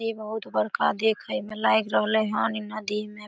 इ बहुत बड़का देखे में लाग रहले हैन इ नदी में --